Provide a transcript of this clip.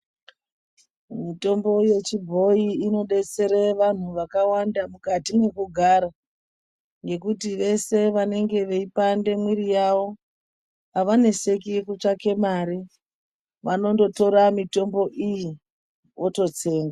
Mitombo yechibhoyi inodetsera antu akawanda mukati mwekugara ngekuti vese vanenge veipandika mwiri yawo avaneseki kutsvake mare vanondotora mitombo iyi vototsenga.